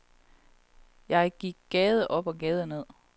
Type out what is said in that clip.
Jeg gik gade op og gade ned.